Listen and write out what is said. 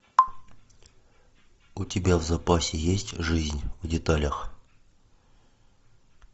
у тебя в запасе есть жизнь в деталях